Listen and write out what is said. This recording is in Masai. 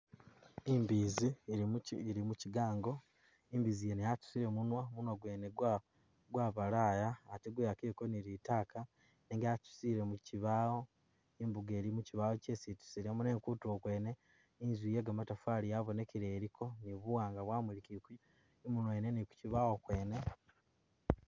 Imbiizi ili muki ili mukigaango, imbiizi mwene yatusile munwa, munwa gwene gwabalaya ate gwewakileko ni litaaka nenga yatusile mu kibaawo. Imbugo ili mukibawo kyesi itusiilemu nenga kutulo kwene, inzu ye kamatafaari yabonikile iliko ni buwaanga bwamulikileko mubwene ni kukibaawo kwene